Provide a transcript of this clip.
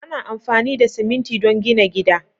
Ana amfani da siminti don gina gida.